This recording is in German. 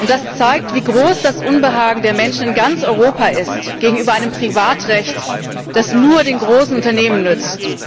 Das zeigt, wie groß das Unbehagen der Menschen in ganz Europa ist gegenüber einem Privatrecht, das nur den großen Unternehmen nützt.